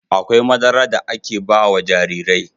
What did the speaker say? Akwai madara da aka ba wa jarirai..